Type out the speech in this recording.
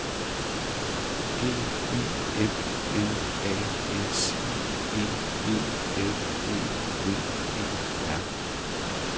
G Y M N A S I E E L E V E R